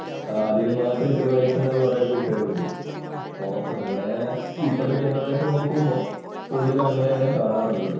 അതിനുമാത്രം ചെലവഴിക്കുന്ന കുറെ കൂട്ടുകാര് ഉണ്ട്. അപ്പോ അങ്ങനെ ഇപ്പോഴത്ത ജനറേഷൻ നോക്കുമ്പോൾ കൂടുതലും അങ്ങനെയാണ് കാണാറുള്ളത്.